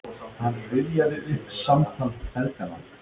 Hann rifjaði upp samtal feðganna